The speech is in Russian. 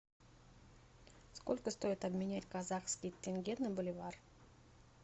сколько стоит обменять казахский тенге на боливар